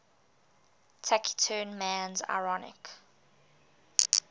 taciturn man's ironic